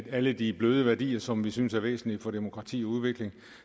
alle de bløde værdier som vi synes er væsentlige for demokrati og udvikling